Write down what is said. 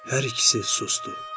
Hər ikisi susdu.